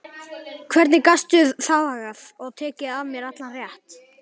Hvernig gastu þagað og tekið af mér allan rétt?